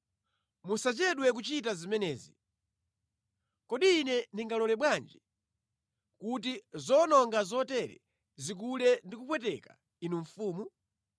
Musachedwe kuchita zimenezi. Kodi ine ndingalole bwanji kuti zowononga zotere zikule ndi kupweteka ine mfumu?